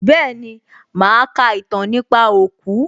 Bẹ́ẹ̀ni, màá ka ìtàn nípa òkú